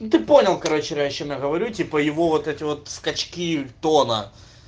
и ты понял короче раньше я говорю типа его вот эти вот скачки тона